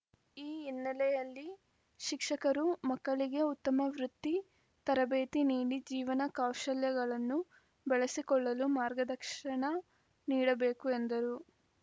ಈ ಹಿನ್ನೆಲೆಯಲ್ಲಿ ಶಿಕ್ಷಕರು ಮಕ್ಕಳಿಗೆ ಉತ್ತಮ ವೃತ್ತಿ ತರಬೇತಿ ನೀಡಿ ಜೀವನ ಕೌಶಲ್ಯಗಳನ್ನೂ ಬೆಳೆಸಿಕೊಳ್ಳಲು ಮಾರ್ಗದಕ್ಷಣ ನೀಡಬೇಕು ಎಂದರು